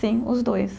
Sim, os dois.